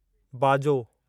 बाजो